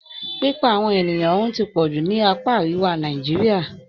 Pípa àwọn ènìyàn run ti pọ̀ jù ní apá àríwá Nàìjíríà.